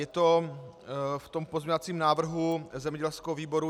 Je to v tom pozměňovacím návrhu zemědělského výboru.